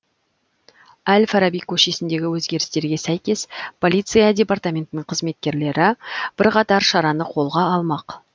әл фараби көшесіндегі өзгерістерге сәйкес полиция департаментінің қызметкерлері бірқатар шараны қолға алмақ